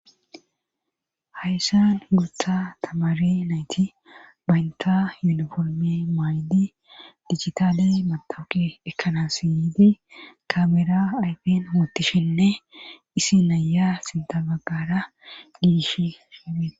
Hayssan guutha tamaare nayti banta yuniforme mayidi digitaale matawuqe ekkana yiidi kaamera ayfen wottishenne issi na'iya sinta baggara diishin.